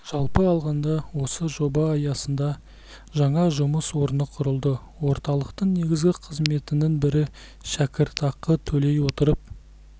жалпы алғанда осы жоба аясында жаңа жұмыс орны құрылды орталықтың негізгі қызметінің бірі шәкіртақы төлей отырып